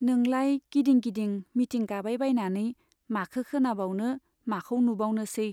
नोंलाय गिदिं गिदिं मिटिं गाबायबायनानै माखो खोनाबावनो, माखौ नुबावनोसै।